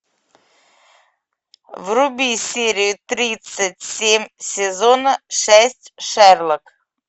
вруби серию тридцать семь сезона шесть шерлок